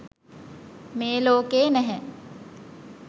මේ ලෝකයේ නැහැ.